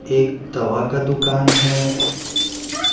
एक तवा का दुकान हैं ।